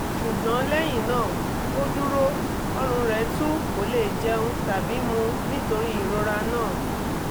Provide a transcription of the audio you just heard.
ṣùgbọ́n lẹ́yìn náà ó dúró ọ̀rùn rẹ̀ tú kò lè jẹun tàbí mu nítorí ìrora náà